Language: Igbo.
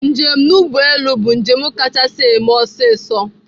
Njem n'ụgbọelụ bụ njem kachasị eme ọsọ ọsọ